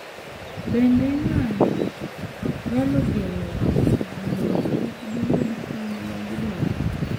Bende, ng’anjo nyalo geng’o ji mondo kik giyud kony ma gidwaro,